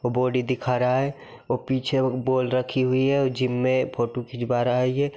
और बॉडी दिखा रहा है और पीछे बॉल रखी हुई है जिम में फोटो खिंचवा रहा है ये --